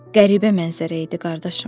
Qəribə mənzərə idi, qardaşım.